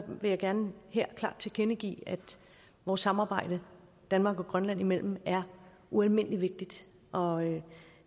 vil jeg gerne her klart tilkendegive at vores samarbejde danmark og grønland imellem er ualmindelig vigtigt og